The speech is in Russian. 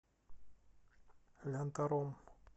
лянтором